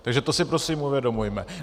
Takže to si prosím uvědomujme.